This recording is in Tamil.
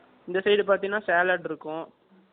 இந்த side பார்த்தீங்கன்னா salad இருக்கும்